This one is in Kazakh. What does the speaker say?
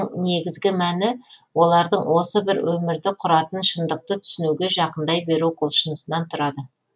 негізгі мәні олардың осы бір өмірді құратын шындықты түсінуге жақындай беру құлшынысынан тұрады